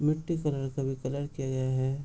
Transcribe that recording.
मिट्टी कलर का भी कलर किया गया है |